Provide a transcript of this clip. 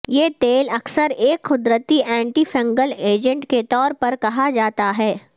یہ تیل اکثر ایک قدرتی اینٹی فنگل ایجنٹ کے طور پر کہا جاتا ہے